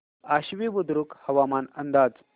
आश्वी बुद्रुक हवामान अंदाज